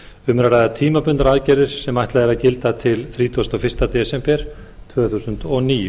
um er að ræða tímabundnar aðgerðir sem ætlað er að gilda til þrítugasta og fyrsta desember tvö þúsund og níu